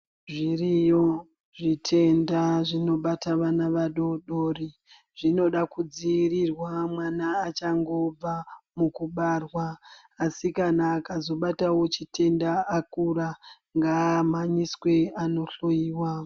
Zviriyo zvitenda zvinobata vana adodori zvinoda kudziirirwa mwana achangobva mukubarwa asi kana akazobatawo chitenda akura ngaamhanyiswe anohloiwa .